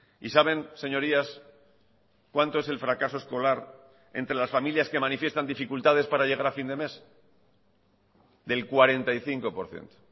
y saben señorías cuánto es el fracaso escolar entre las familias que manifiestan dificultades para llegar a fin de mes del cuarenta y cinco por ciento